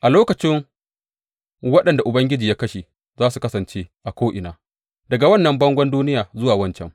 A lokacin waɗanda Ubangiji ya kashe za su kasance a ko’ina, daga wannan bangon duniya zuwa wancan.